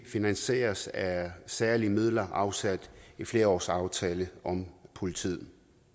finansieres af særlige midler afsat i flerårsaftalen om politiet